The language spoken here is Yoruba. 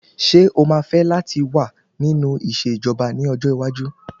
Ṣé o máa fẹ́ láti wà nínú ìṣẹ̀jọba ní ọjọ́ iwájú?